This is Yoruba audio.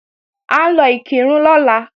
À ń lọ Ìkìrun lọ́la